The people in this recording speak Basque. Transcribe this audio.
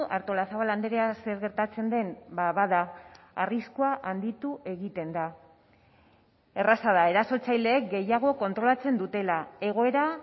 artolazabal andrea zer gertatzen den bada arriskua handitu egiten da erraza da erasotzaileek gehiago kontrolatzen dutela egoera